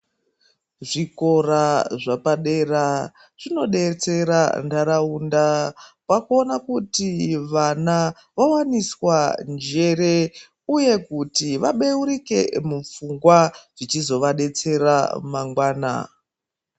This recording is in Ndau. Zvikora zvepadera zvinodetsera ndaraunda pakuona kuti vana vavawaniswa njere uye kuti vabeurike mupfungwa zvichizovadetsera mangwana.